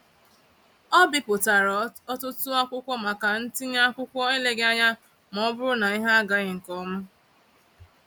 Ọ bipụtara ọtụtụ akwụkwọ maka ntinye akwụkwọ eleghị anya maọbụrụ na ihe agaghị nkeọma.